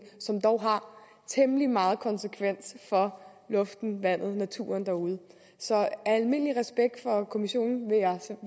som dog har temmelig meget konsekvens for luften vandet naturen derude så af almindelig respekt for kommissionen